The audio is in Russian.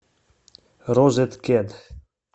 розеткед